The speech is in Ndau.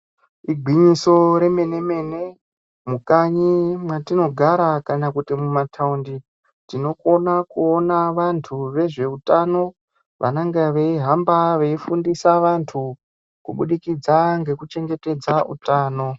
Igwinyiso remene-mene, mukanyi mwatinogara kana kuti mumataundi tinokona kuona vantu vezveutano vanonga veihamba veifundisa vantu. Kubudikidza ngekuchengetedza utano.